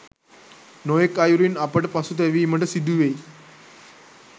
නොයෙක් අයුරින් අපට පසුතැවීමට සිදුවෙයි.